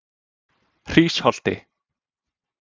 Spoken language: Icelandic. Hrísholti